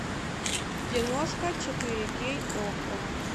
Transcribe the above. киношка четыре кей окко